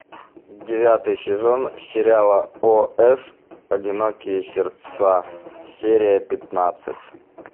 девятый сезон сериала ос одинокие сердца серия пятнадцать